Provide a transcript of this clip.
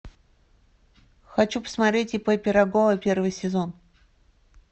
хочу посмотреть ип пирогова первый сезон